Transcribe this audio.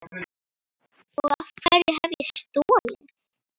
Og hverju hef ég stolið?